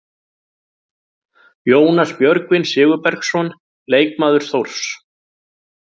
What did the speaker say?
Jónas Björgvin Sigurbergsson, leikmaður Þórs.